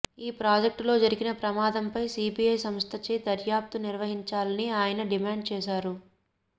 ఈప్రాజెక్టులో జరిగిన ప్రమాదంపై సిబిఐ సంస్థచే దర్యాప్తు నిర్వహించాలని ఆయన డిమాండ్ చేశారు